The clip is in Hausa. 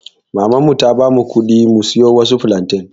maman mu ta bamu kuɗi mu siyo waɗansu flantain.